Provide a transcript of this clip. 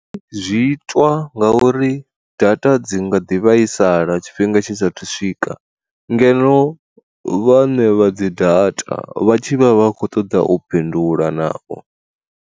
Zwiitwa nga uri data dzi nga ḓi vhaisala tshifhinga tshisa thu swika ngeno vhane vha dzi data vhatshi vha vha khou ṱoḓa u bindula navho.